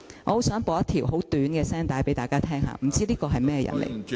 我想播一段很短的聲帶給大家聽，真的不知道他是個甚麼人？